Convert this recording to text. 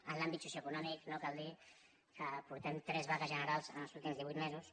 en l’àmbit socioeconòmic no cal dir que portem tres vagues generals en els últims divuit mesos